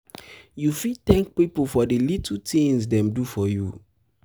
you fit thank people for di little tings dem do for you.